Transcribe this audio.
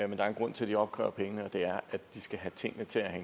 der er en grund til at de opkræver pengene og det er at de skal have tingene til at